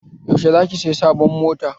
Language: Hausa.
Yaushe za ki saya sabon mota?